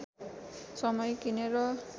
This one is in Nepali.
समय किनेर